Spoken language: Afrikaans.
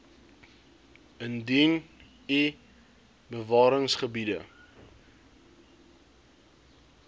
indien u bewaringsgebiede